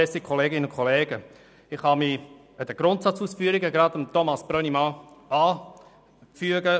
Ich kann mich den Ausführungen zum Grundsatz von Grossrat Brönnimann anschliessen.